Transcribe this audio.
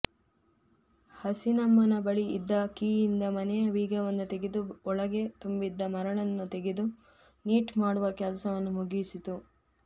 ಹಸೀನಮ್ಮನ ಬಳಿ ಇದ್ದ ಕೀಯಿಂದ ಮನೆಯ ಬೀಗವನ್ನು ತೆಗೆದು ಒಳಗೆ ತುಂಬಿದ್ದ ಮರಳನ್ನು ತೆಗೆದು ನೀಟ್ ಮಾಡುವ ಕೆಲಸವನ್ನು ಮುಗಿಸಿಯಾಗಿತ್ತು